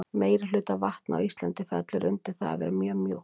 meirihluti af vatni á íslandi fellur undir það að vera mjög mjúkt